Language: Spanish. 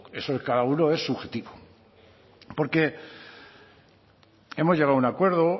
eso en cada uno es subjetivo porque hemos llegado a un acuerdo